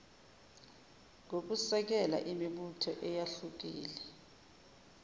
ngokusekela imibutho eyahlukile